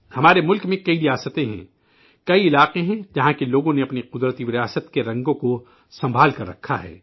ہمارے ملک میں کئی ریاستیں ہیں، کئی علاقے ہیں جہاں لوگوں نے اپنی قدرتی وراثت کے رنگوں کو محفوظ رکھا ہے